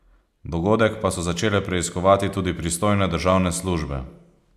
Dogodek pa so začele preiskovati tudi pristojne državne službe.